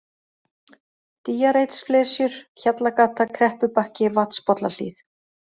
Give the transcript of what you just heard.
Dýjareitsflesjur, Hjallagata, Kreppubakki, Vatnspollahlíð